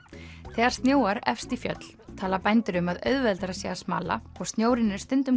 þegar snjóar efst í fjöll tala bændur um að auðveldara sé að smala og snjórinn er stundum